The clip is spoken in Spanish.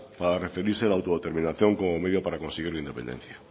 para referirse a la autodeterminación como medio para conseguir la independencia